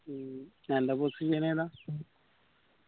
മ്മ് തന്റെ position ഏതാ